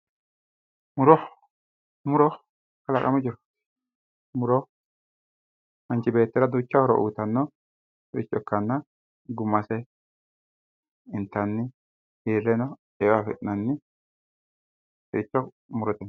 muro muro kalaqamu jiro muro manchi beettira duucha horo uyiiannnota ikkitanna gumase intanni hirreno eo afi'nanniricho murote yinanni